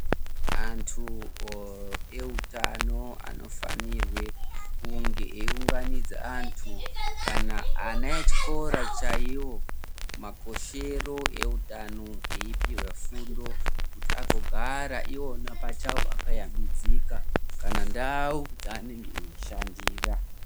Anthu eutano anofanirwa kunge eiunganidze anthu kana ana echikora chaiwo makoshere eutano eipuwa fundo kuti agogara iwona pachawo akashambidzika kana ndau dzaanenge eishandira.